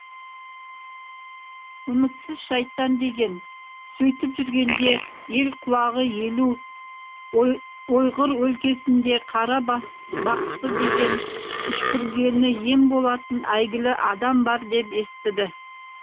үмітсіз шайтан деген сөйтіп жүргенде ел құлағы елу ойғыр өлкесінде қара бақсы деген үшкіргені ем болатын әйгілі адам бар деп естіді